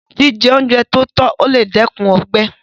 Jíjẹ oúnjẹ tótọ́ lè dẹ́kun ọgbẹ́